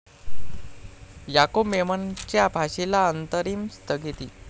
याकूब मेमनच्या फाशीला अंतरिम स्थगिती